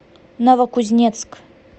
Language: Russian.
новокузнецк